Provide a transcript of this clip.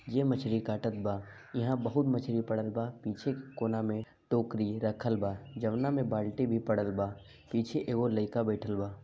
ये मछरी काटत बा इहाँ बहुत मछरी पड़ल बा पीछे के कोना में टोकरी रखल बा जौना में बाल्टी भी पड़ल बा पीछे एगो लड़िका बइठल बा।